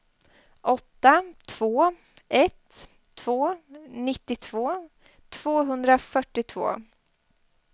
åtta två ett två nittiotvå tvåhundrafyrtiotvå